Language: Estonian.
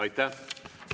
Aitäh!